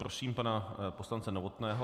Prosím pana poslance Novotného.